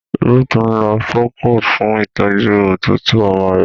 Ruth nlò procold fun ìtọjú òtútù ọmọ rẹ.